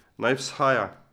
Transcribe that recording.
Naj vzhaja.